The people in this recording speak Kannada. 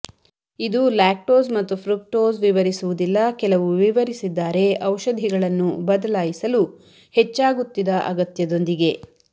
ಇದು ಲ್ಯಾಕ್ಟೋಸ್ ಮತ್ತು ಫ್ರಕ್ಟೋಸ್ ವಿವರಿಸುವುದಿಲ್ಲ ಕೆಲವು ವಿವರಿಸಿದ್ದಾರೆ ಔಷಧಿಗಳನ್ನು ಬದಲಾಯಿಸಲು ಹೆಚ್ಚಾಗುತ್ತಿದ ಅಗತ್ಯದೊಂದಿಗೆ